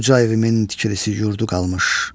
Uca evimin tikilisi yurdu qalmış.